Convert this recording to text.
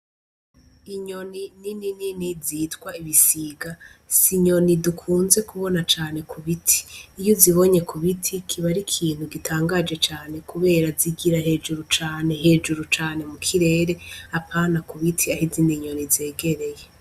Inyoni ni ninini zitwa ibisiga si inyoni dukunze kubona cane ku biti iyo uzibonye ku biti kiba ari ikintu gitangaje cane, kubera zigira hejuru cane hejuru cane mu kirere apana ku biti yahe izina inyoni zegereye.